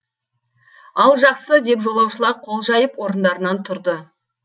ал жақсы деп жолаушылар қол жайып орындарынан тұрды